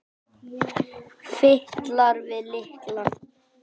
Fitlar við lykla.